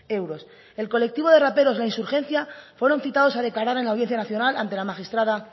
euros el colectivo de raperos la insurgencia fueron citados a declarar en la audiencia nacional ante la magistrada